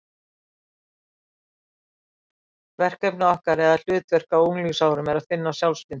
Verkefni okkar eða hlutverk á unglingsárum er að finna sjálfsmyndina.